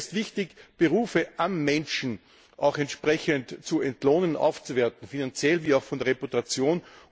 Vielmehr ist wichtig, Berufe am Menschen auch entsprechend zu entlohnen und aufzuwerten, finanziell wie auch von der Reputation.